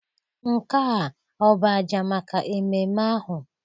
Nke a ọ bụ àjà maka ememe ahụ?